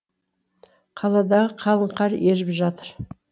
қаладағы қалың қар еріп жатыр